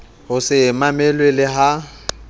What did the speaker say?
ho se mamelwe le ha